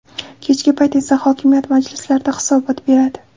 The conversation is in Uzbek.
Kechki payt esa hokimiyat majlislarida hisobot beradi.